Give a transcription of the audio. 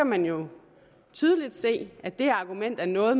man jo tydeligt se at det argument er noget